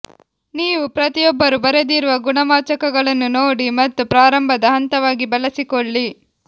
ನೀವು ಪ್ರತಿಯೊಬ್ಬರೂ ಬರೆದಿರುವ ಗುಣವಾಚಕಗಳನ್ನು ನೋಡಿ ಮತ್ತು ಪ್ರಾರಂಭದ ಹಂತವಾಗಿ ಬಳಸಿಕೊಳ್ಳಿ